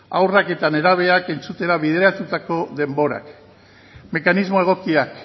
haurrak eta nerabeak entzutera bideratutako denborak mekanismo egokiak